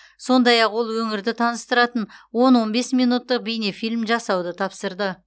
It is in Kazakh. сондай ақ ол өңірді таныстыратын он он бес минуттық бейнефильм жасауды тапсырды